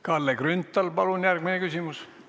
Kalle Grünthal, palun järgmine küsimus!